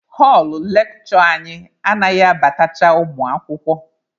Họlụ lekshure anyị anaghị abatacha ụmụ akwụkwọ.